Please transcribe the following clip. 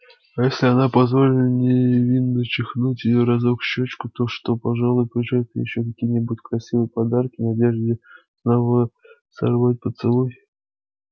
а если она позволит невинно чмокнуть её разок в щёчку то он пожалуй привезёт ей ещё какие-нибудь красивые подарки в надежде снова сорвать поцелуй